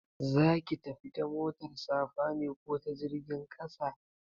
Za ka tafi ta motar safa ne ko ta jirgin ƙasa?